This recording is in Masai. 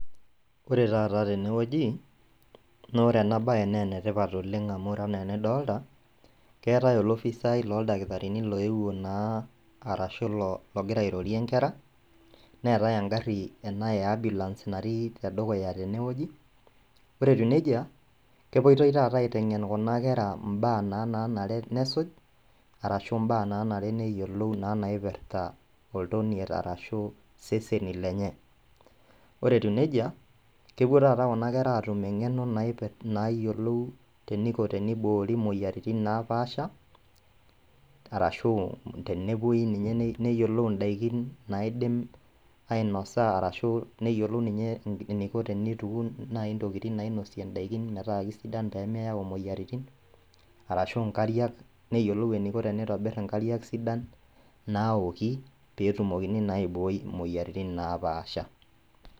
Ore tata tenewueji naore enabaye neenetipat oleng' amu ore anaa enidolta keatai olofisai looldakitarini loepuo naa arashu [lo] logira airorie nkera neetai engarri ena e  ambulance natii tedukuya tenewueji. Ore etiu neija, kepuoitoi taata aiteng'en kuna kera imbaa naa nanare nesuj arashu imbaa nanare neyiolou naa naipirta oltoniet arashu iseseni lenye. Ore etiu neija, kepuo tata kuna kera atum eng'eno naipir, naayiolou teneiko teniboori muoyaritin naapaasha arashu tenepuoi ninye neyiolou indaikin naaidim ainosa arashu neyiolou ninye eneiko teneituun nai intokitin nainosie indaikin metaa keisidan peemeyau imoyaritin arashu inkariak neyiolou eneiko teneitobirr inkariak sidan naaoki peetumoki naaiboi imoyaritin naapaasha.